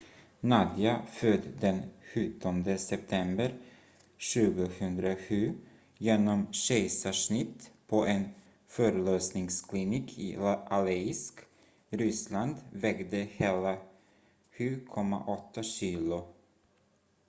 nadia född den 17 september 2007 genom kejsarsnitt på en förlossningsklinik i aleisk ryssland vägde hela 7,8 kilo